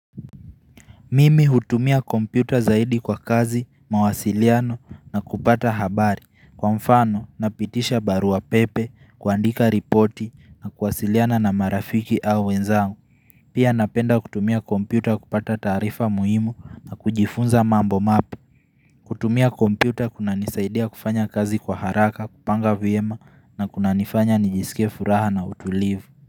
Mimi hutumia kompyuta zaidi kwa kazi mawasiliano na kupata habari kwa mfano na pitisha barua pepe kuandika ripoti na kuwasiliana na marafiki au wenzangu Pia napenda kutumia kompyuta kupata taarifa muhimu na kujifunza mambo mapu kutumia kompyuta kuna nisaidia kufanya kazi kwa haraka kupanga viema na kuna nifanya nijisike furaha na utulivu.